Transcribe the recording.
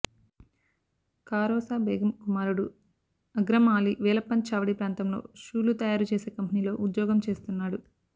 కారోసా బేగం కుమారుడు అగ్రం ఆలీ వేలప్పన్ చావడి ప్రాంతంలో షూలు తయారు చేసే కంపెనీలో ఉద్యోగం చేస్తున్నాడు